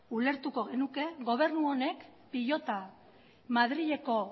ulertuko genuke gobernu honek pilota madrileko